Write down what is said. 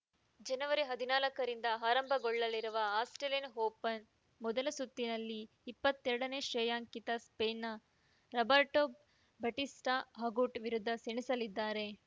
ಜನವರಿ ಹದನಾಲ್ಕರಿಂದ ಆರಂಭಗೊಳ್ಳಲಿರುವ ಆಸ್ಪ್ರೇಲಿಯನ್‌ ಓಪನ್‌ನ ಮೊದಲ ಸುತ್ತಿನಲ್ಲಿ ಇಪ್ಪತ್ತೆರಡನೇ ಶ್ರೇಯಾಂಕಿತ ಸ್ಪೇನ್‌ನ ರಾಬೆರ್ಟೋ ಬಟಿಸ್ಟಾಅಗುಟ್‌ ವಿರುದ್ಧ ಸೆಣಸಲಿದ್ದಾರೆ